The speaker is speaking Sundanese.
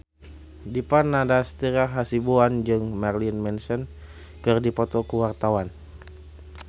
Dipa Nandastyra Hasibuan jeung Marilyn Manson keur dipoto ku wartawan